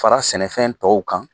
Fara sɛnɛfɛn tɔw kan